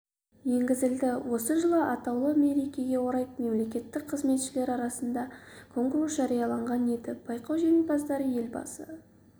енгізілді осы жылы атаулы мерекеге орай мемлекеттік қызметкетшілер арасында конкурс жарияланған еді байқау жеңімпаздары елбасы